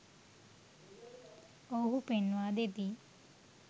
ඔවුහු පෙන්වා දෙති